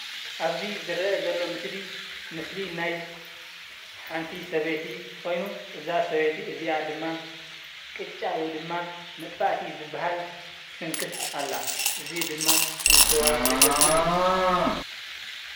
አብዚ ዝርአ ዘሎ ምስሊ ምስሊ ናይ ሓንቲ ሰበይቲ ኾይኑ እዛ ሰበይቲ እዚአ ድማ ቅጫ ወይ ድማ መፅፋእቲ ዝበሃል ትስንክት አላ፡፡ እዚ ድማ ንስዋ ዘገልግል እዩ፡፡